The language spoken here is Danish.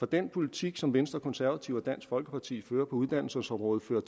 den politik som venstre konservative og dansk folkeparti fører på uddannelsesområdet fører